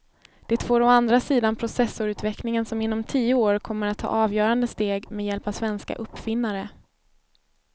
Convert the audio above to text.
Det får å andra sidan processorutvecklingen som inom tio år kommer att ta avgörande steg med hjälp av svenska uppfinnare.